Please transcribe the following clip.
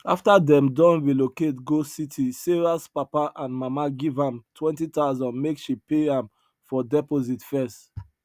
after them don relocate go city sarahs papa and mama give am 20000 make she pay am for deposit first